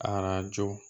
Arajo